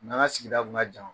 U n'an ka sigida kun ka jan.